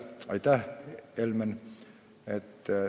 Aitäh, Helmen!